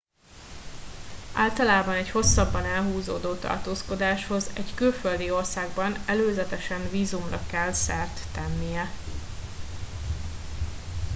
általában egy hosszabban elhúzódó tartózkodáshoz egy külföldi országban előzetesen vízumra kell szert tennie